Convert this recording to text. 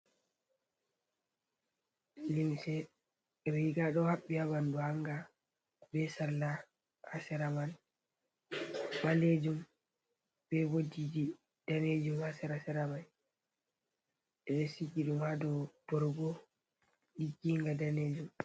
Riiga ɗo haɓɓi haa ɓanndu hannga ,be sarla haa sera may ɓaleejum be ooldiji daneejum, haa sera sera may ɓe ɗo siji ɗum haa dow borgo ɗigginga danejum.